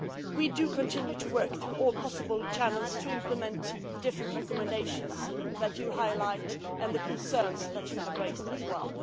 We do continue to work through all possible channels to implement the different recommendations that you highlight and the concerns that you have raised as well.